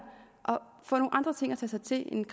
får nogle andre ting at tage sig til end